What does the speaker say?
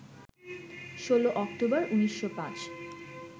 ১৬ অক্টোবর, ১৯০৫